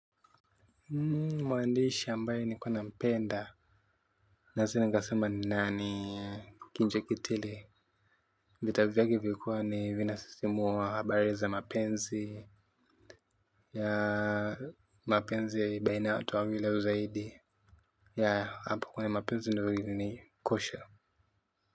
Mwandishi ambaye ni kuwa nampenda na sinika sema nani kinjekitile vita vya ke vilikuwa ni vinasisimua habari za mapenzi ya mapenzi ya i baina ya watu wawili au zaidi ya hapo kuna mapenzi ndo ili ni kosha.